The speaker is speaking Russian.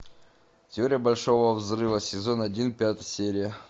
теория большого взрыва сезон один пятая серия